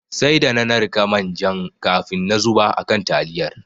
Sai da na narka manjan kafin na zuba a kan taliyan.